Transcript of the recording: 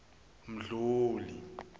mdluli